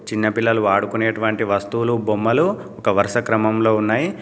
చిన్నపిల్లలు వాడుకునేటువంటి వస్తువులు బొమ్మలు ఒక వరుస క్రమంలో ఉన్నాయి.